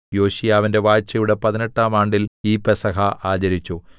യോശീയാവിന്റെ വാഴ്ചയുടെ പതിനെട്ടാം ആണ്ടിൽ ഈ പെസഹ ആചരിച്ചു